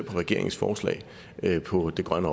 regeringens forslag på det grønne